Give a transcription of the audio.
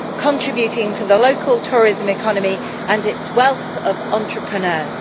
contributing to the local tourism economy and its wealth of entrepreneurs.